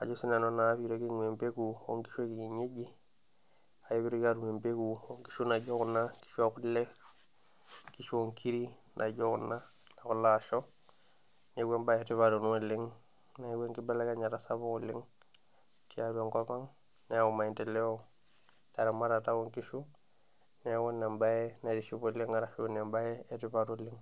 ajo siinanu naa piitoki aibg'waa empeku oo nkishu e kienyeji kake piitoki aatum empeku oo nkishu naijo kuna, nkishu oo kule, nkishu oo nkiri naijo kuna, kuna asho. Neeku embae etipat ena oleng neeku enkibelekenyata sapuk oleng tiatwa enkopang neyau maendeleo teramatata oo nkishu. Neeku embae naitiship oleng arashu naa embae etipat oleng